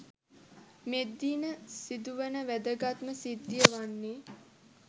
මෙදින සිදුවන වැදගත්ම සිද්ධිය වන්නේ